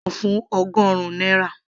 ra uda náà fún ọgọrun náírà